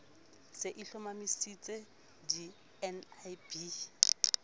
se e hlomamisitse di nlb